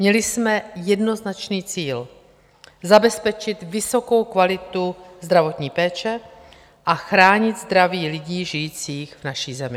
Měli jsme jednoznačný cíl - zabezpečit vysokou kvalitu zdravotní péče a chránit zdraví lidí žijících v naší zemi.